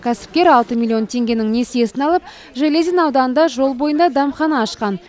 кәсіпкер алты миллион теңгенің несиесін алып железин ауданында жол бойында дәмхана ашқан